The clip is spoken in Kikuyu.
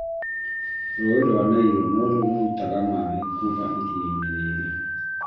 Rũũĩ rwa Nile noruo rũrutaga maaĩ kuma iria rĩrĩ